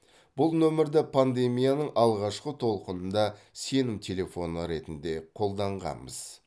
бұл нөмірді пандемияның алғашқы толқынында сенім телефоны ретінде қолданғанбыз